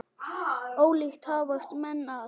Ólíkt hafast menn að.